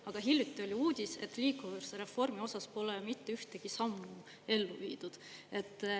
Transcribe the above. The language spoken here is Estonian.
Aga hiljuti oli uudis, et liikuvusreformi osas pole mitte ühtegi sammu ellu viidud.